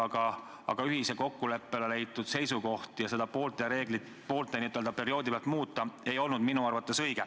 Aga kui on ühise kokkuleppena leitud seisukoht, siis seda n-ö poole perioodi pealt muuta ei olnud minu arvates õige.